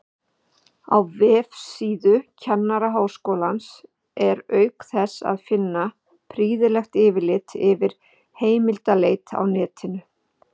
Á vefsíðu Kennaraháskólans er auk þess að finna prýðilegt yfirlit yfir heimildaleit á netinu.